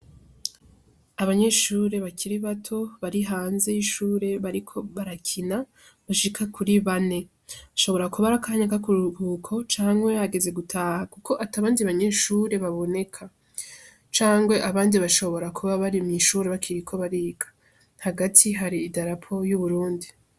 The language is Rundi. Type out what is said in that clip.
Abanyeshure bakiri bato bari hanze y'ishure bariko barakina bashika kuri bane ashobora kuba arakanyaka ku guko canke hageze gutaha, kuko atabanje banyeshure baboneka cangwe abanje bashobora kuba bari mw'ishure bakira ko bariga hagati hari idarapo y'uburundi.